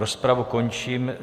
Rozpravu končím.